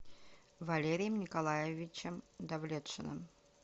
валерием николаевичем давлетшиным